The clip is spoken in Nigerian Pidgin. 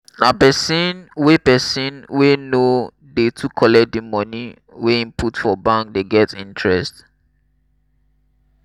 na pesin wey pesin wey no dey too collect di moni wey im put for bank dey get interest.